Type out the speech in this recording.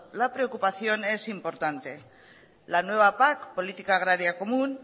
la preocupación es importante la nueva pac política agraria común